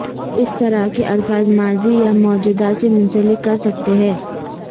اس طرح کے الفاظ ماضی یا موجودہ سے منسلک کرسکتے ہیں